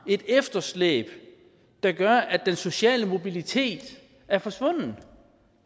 et efterslæb der gør at den sociale mobilitet er forsvundet